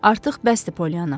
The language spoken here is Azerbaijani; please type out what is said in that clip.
Artıq bəsdir Poliyana.